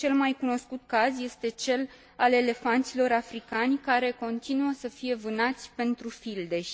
Cel mai cunoscut caz este cel al elefanților africani, care continuă să fie vânați pentru fildeș.